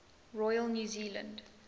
royal new zealand